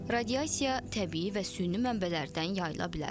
Radiasiya təbii və süni mənbələrdən yayıla bilər.